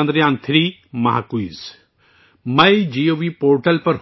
اب تک 15 لاکھ سے زیادہ لوگ مائی گوو پورٹل پر